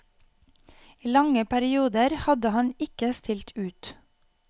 I lange perioder hadde han ikke stilt ut.